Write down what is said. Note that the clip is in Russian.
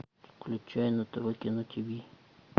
включай на тв кино тиви